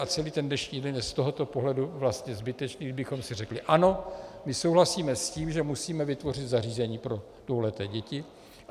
A celý ten dnešní den je z tohoto pohledu vlastně zbytečný, kdybychom si řekli: Ano, my souhlasíme s tím, že musíme vytvořit zařízení pro dvouleté děti.